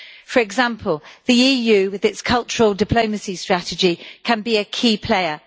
For example, the EU with its cultural diplomacy strategy can be a key player.